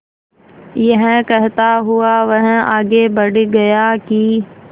यह कहता हुआ वह आगे बढ़ गया कि